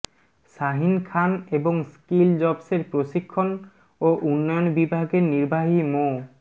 শাহীন খান এবং স্কিল জবসের প্রশিক্ষণ ও উন্নয়ন বিভাগের নির্বাহী মো